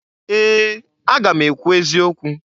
Ee! Aga m ekwu eziokwu.